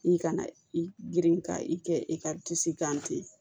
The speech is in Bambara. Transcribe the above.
I kana i girin ka i kɛ i ka kan ten